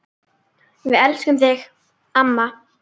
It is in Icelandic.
Við elskum þig, amma.